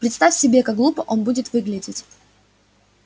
представь себе как глупо он будет выглядеть